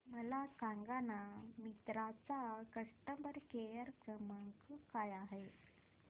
मला सांगाना मिंत्रा चा कस्टमर केअर क्रमांक काय आहे